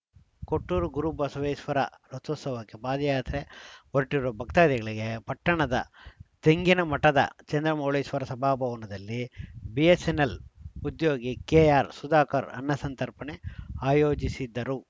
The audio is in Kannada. ಕೊಟ್ಟೂರು ಗುರು ಬಸವೇಶ್ವರ ರಥೋತ್ಸವಕ್ಕೆ ಪಾದಯಾತ್ರೆ ಹೊರಟಿರುವ ಭಕ್ತಾದಿಗಳಿಗೆ ಪಟ್ಟಣದ ತೆಂಗಿನ ಮಠದ ಚಂದ್ರಮೌಳೀಶ್ವರ ಸಭಾ ಭವನದಲ್ಲಿ ಬಿಎಸ್‌ಎನ್‌ಎಲ್‌ ಉದ್ಯೋಗಿ ಕೆಆರ್‌ ಸುಧಾಕರ್ ಅನ್ನ ಸಂತರ್ಪಣೆ ಆಯೋಜಿಸಿದ್ದರು